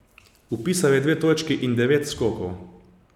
Vpisal je dve točki in devet skokov.